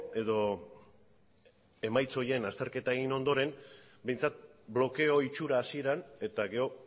edo emaitza horien azterketa egin ondoren behintzat blokeo itxura hasieran eta gero